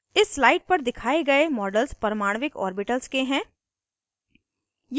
इस slide पर दिखाए गए models परमाणविक ऑर्बिटल्स के हैं